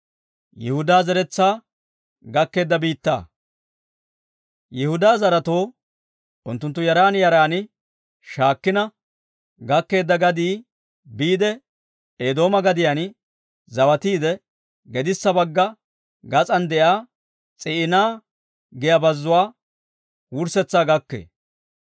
Yihudaa zaretoo unttunttu yaran yaran shaakkina gakkeedda gadii biide Eedooma gadiyaan zawatiide, gedissa bagga gas'an de'iyaa S'iina giyaa bazzuwaa wurssetsaa gakkee.